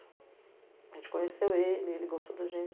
A gente conheceu ele, ele gostou da gente.